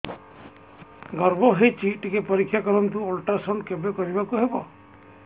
ଗର୍ଭ ହେଇଚି ଟିକେ ପରିକ୍ଷା କରନ୍ତୁ ଅଲଟ୍ରାସାଉଣ୍ଡ କେବେ କରିବାକୁ ହବ